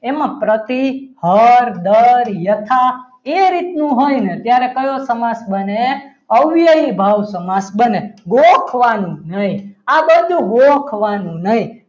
એમાં પ્રતિ અવર દર યથા એ રીતનું હોય ને તો કયો સમાસ બને ભવ્ય અવયવી ભાવ સમાસ બને ગોખવાનું નહીં આ બધું ગોખવાનું નહીં.